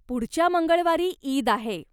पुढच्या मंगळवारी ईद आहे.